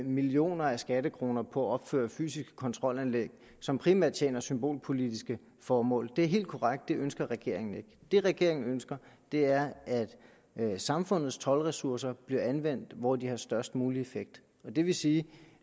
millioner af skattekroner på at opføre fysiske kontrolanlæg som primært tjener symbolpolitiske formål det er helt korrekt at det ønsker regeringen ikke det regeringen ønsker er at samfundets toldressourcer bliver anvendt hvor de har størst mulig effekt og det vil sige